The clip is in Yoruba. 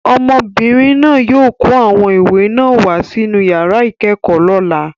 Ọmọbìnrin náà yóò kó àwọn ìwé náà wá sí inú yàrá ìkẹ́kọ̀ọ́ lọ́la.